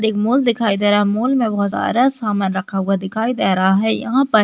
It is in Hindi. एक मॉल दिखाई दे रहा है। मॉल मे बहुत सारा सामान रखा हुआ दिखाई दे रहा है। यहाँ पर--